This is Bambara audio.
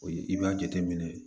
I b'a jateminɛ